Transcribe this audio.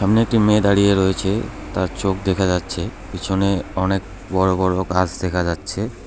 এখানে একটি মেয়ে দাঁড়িয়ে রয়েছে তার চোখ দেখা যাচ্ছে পিছনে অনেক বড় বড় ঘাস দেখা যাচ্ছে।